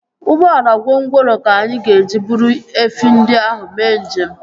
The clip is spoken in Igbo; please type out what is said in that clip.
Ụgbọala gwongworo ka anyị ga-eji buru efi ndị ahụ mee njem